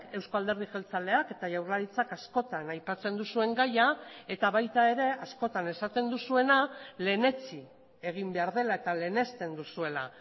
eusko alderdi jeltzaleak eta jaurlaritzak askotan aipatzen duzuen gaia eta baita ere askotan esaten duzuena lehenetsi egin behar dela eta lehenesten duzuela